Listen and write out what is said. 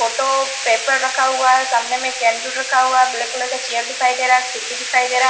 Photo paper रखा हुआ है सामने में कैंडल रखा हुआ है ब्लैक कलर का चेयर दिखाई दे रहा है खिड़की दिखाई दे रहा है।